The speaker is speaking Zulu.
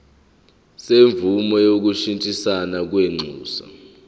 semvume yokushintshisana kwinxusa